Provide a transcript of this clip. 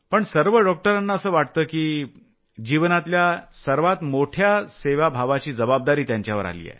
पण सर्व डॉक्टरांना असं वाटतं की जीवनातला सर्वात मोठया सेवा भावाची जबाबदारी त्यांच्यावर आली आहे